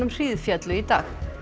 hríðféllu í dag